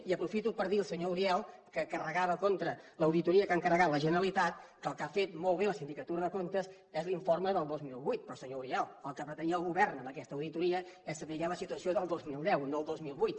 i aprofito per dir al senyor uriel que carregava contra l’auditoria que ha encarregat la generalitat que el que ha fet molt bé la sindicatura de comptes és l’informe del dos mil vuit però senyor uriel el que pretenia el govern amb aquesta auditoria és saber la situació del dos mil deu no del dos mil vuit